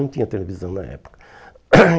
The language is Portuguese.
Não tinha televisão na época.